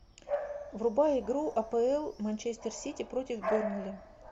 врубай игру апл манчестер сити против бернли